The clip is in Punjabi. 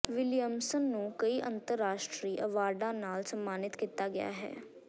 ਵਿਲੀਅਮਸਨ ਨੂੰ ਕਈ ਅੰਤਰਰਾਸ਼ਟਰੀ ਅਵਾਰਡਾਂ ਨਾਲ ਸਨਮਾਨਤ ਕੀਤਾ ਗਿਆ ਹੈ